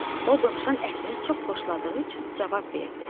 O dovşan ətini çox xoşladığı üçün cavab verdi: